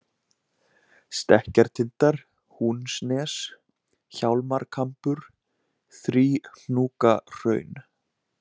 Stekkjartindar, Húnsnes, Hjálmarkambur, Þríhnúkahraun